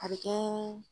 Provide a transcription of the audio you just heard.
A bɛ kɛ